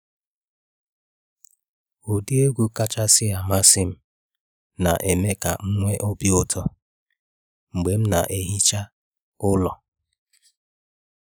Ụdị egwu kachasị amasị m na eme ka m nwee obi ụtọ mgbe m na ehicha ụlọ.